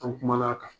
An kumana a kan